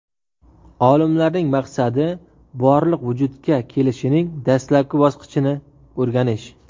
Olimlarning maqsadi Borliq vujudga kelishining dastlabki bosqichini o‘rganish.